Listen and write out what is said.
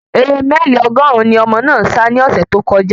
Ere mẹ́ẹ̀lì ọgọ́rùn-ún ni ọmọ náà sa ní ọ̀sẹ̀ tó kọjá